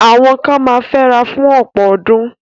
Àwọn kan ma fẹ́ra fún ọ̀pọ̀ ọdún.